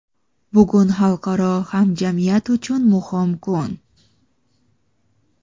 Bugun xalqaro hamjamiyat uchun muhim kun.